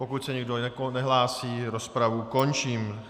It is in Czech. Pokud se nikdo nehlásí, rozpravu končím.